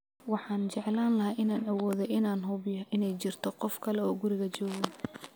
Waxaan jeclaan lahaa inaan awoodo inaan hubiyo inay jirto qof kale oo guriga jooga